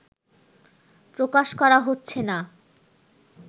প্রকাশ করা হচ্ছে না